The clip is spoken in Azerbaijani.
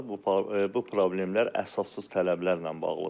Bu problemlər əsassız tələblərlə bağlıdır.